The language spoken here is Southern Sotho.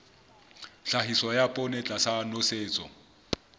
tlhahiso ya poone tlasa nosetso